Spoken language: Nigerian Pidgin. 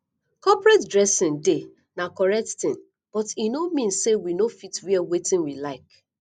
corporate dressing dey na correct thing but e no mean sey we no fit wear wetin we like